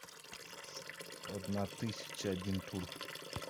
одна тысяча один тур